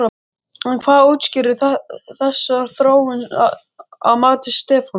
En hvað útskýrir þessa þróun að mati Stefáns?